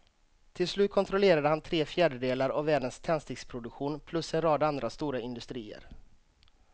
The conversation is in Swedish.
Till slut kontrollerade han tre fjärdedelar av världens tändsticksproduktion plus en rad andra stora industrier.